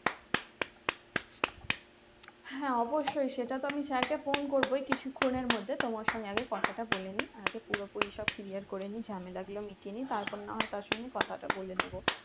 হ্যাঁ অবশ্যই সেটা তো আমি sir কে phone করবো কিছুক্ষনের মধ্যে তোমার সঙ্গে আগে কথাটা বলে নেই আগে পুরোপুরি সব clear করে নেই ঝামেলা গুলো মিটিয়ে নেই তারপর না হয় তার সঙ্গে কথাটা বলে নেবো